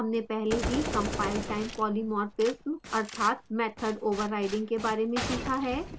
हमने पहले ही compiletime polymorphism अर्थात method overloading के बारे में सीखा है